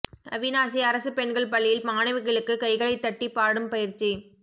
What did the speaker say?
அவிநாசி அரசு பெண்கள் பள்ளியில் மாணவிகளுக்கு கைகளைத் தட்டிப் பாடும் பயிற்சி